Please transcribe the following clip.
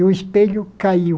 E o espelho caiu.